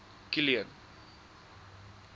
kilian